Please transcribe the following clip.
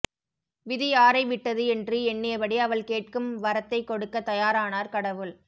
விதி யாரை விட்டது என்று எண்ணியபடி அவள் கேட்கும் வரத்தை கொடுக்க தயாரானார் கடவுள்